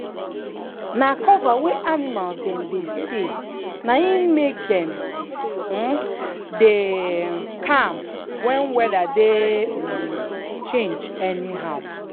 na cover wey animals dem dey stay na im make dem um dey um calm when weather dey um change anyhow.